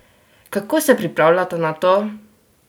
Kako se pripravljata na to?